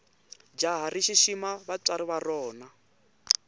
jahha rishishima vatswari varona